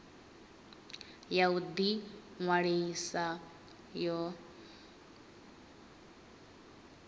ya u ḓi ṅwalisa yo